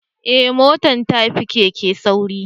Eh mota ta fi keke sauri